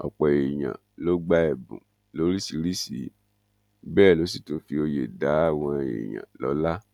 ọpọ èèyàn ló gba ẹbùn lóríṣìíríṣìí bẹẹ ló sì tún fi òye dá àwọn èèyàn lọlá